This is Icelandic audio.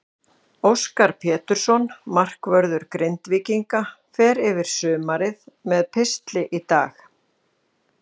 Óskar Pétursson, markvörður Grindvíkinga, fer yfir sumarið með pistli í dag.